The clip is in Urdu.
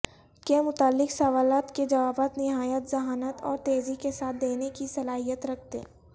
کے متعلق سوالات کے جوابات نہایت ذھانت اور تیزی کے ساتھ دینے کی صلاحیت رکھتے